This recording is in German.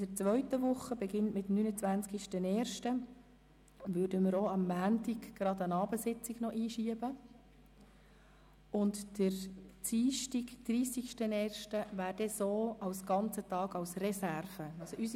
In der zweiten Woche vom 29. 01. 2018 würden wir auch am Montag eine Abendsitzung einschieben, und der Dienstag, 30. 01. 2018, würde als ganzer Tag als Reserve dienen.